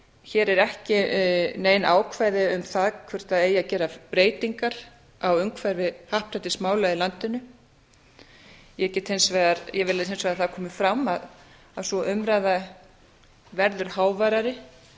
hér eru ekki nein ákvæði um það hvort það eigi að gera breytingar á umhverfi happdrættismála í landinu ég vil hins vegar að það komi fram að sú umræða verður háværari